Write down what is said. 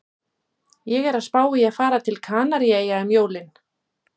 Ég er að spá í að fara til Kanaríeyja um jólin